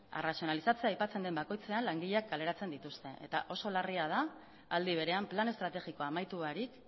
arrazionalizatzea aipatzen den bakoitzean langileak kaleratzen dituzte eta oso larria da aldi berean plan estrategikoa amaitu barik